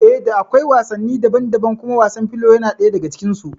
Eh da akwai wasanni daban daban kuma wasan filo yana ɗaya daga cikin su